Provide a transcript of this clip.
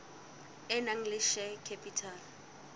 e nang le share capital